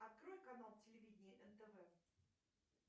открой канал телевидение нтв